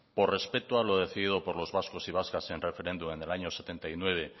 por respeto a lo decidido por los vascos y vascas en el referéndum en el año setenta y nueve